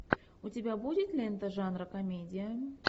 у тебя будет лента жанра комедия